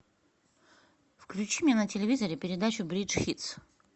включи мне на телевизоре передачу бридж хитс